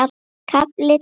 KAFLI TÓLF